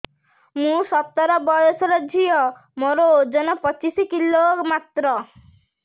ମୁଁ ସତର ବୟସର ଝିଅ ମୋର ଓଜନ ପଚିଶି କିଲୋ ମାତ୍ର